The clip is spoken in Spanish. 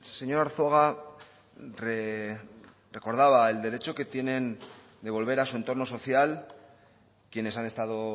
señor arzuaga recordaba el derecho que tienen de volver a su entorno social quienes han estado